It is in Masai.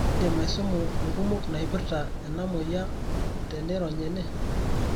indiim aisumu inkumok naiprta enamoyia tenirony ene.